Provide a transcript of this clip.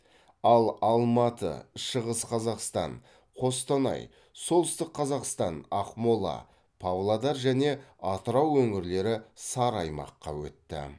ал алматы шығыс қазақстан қостанай солтүстік қазақстан ақмола павлодар және атырау өңірлері сары аймаққа өтті